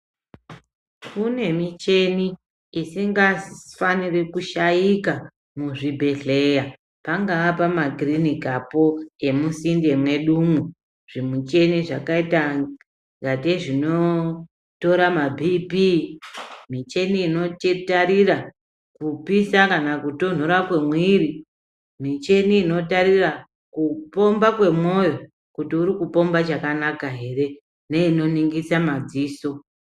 Kune michini isangafaniri kushayika muzvibhedhleya, pangaa pamakirinikapo emisinde mwedumwo, zvimichina zvakayita ingateyi zvinotora mabhipii, michini inotitarira kupisa kana kutonhora kwemwiri, michini inotarira kupomba kwemwoyo, kuti uri kupomba chakanaka ere, neyino ningisa madziso.